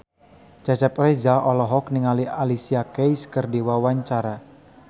Cecep Reza olohok ningali Alicia Keys keur diwawancara